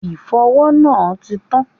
Ìfọwọ́ náà ti tán.